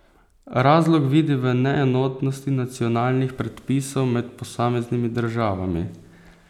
Razlog vidi v neenotnosti nacionalnih predpisov med posameznimi državami.